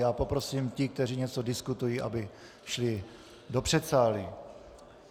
Já poprosím ty, kteří něco diskutují, aby šli do předsálí.